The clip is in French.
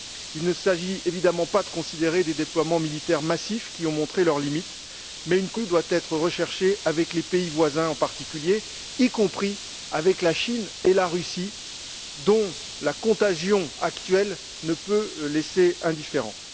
Il ne s'agit évidemment pas de considérer des déploiements militaires massifs qui ont montré leurs limites, mais une coopération accrue doit être recherchée avec les pays voisins en particulier, y compris avec la Chine et la Russie, dont la contagion actuelle ne peut laisser indifférent.